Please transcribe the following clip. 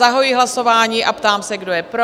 Zahajuji hlasování a ptám se, kdo je pro?